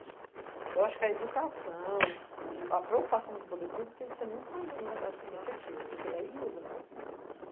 Então, eu acho que a educação, o a preocupação com o poder público tem que ser muito mais efetiva, porque aí muda.